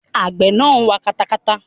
Àgbẹ̀ náà ń wa katakata.